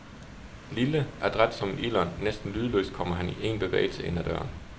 Lille, adræt som en ilder, næsten lydløst kommer han i en bevægelse ind ad døren .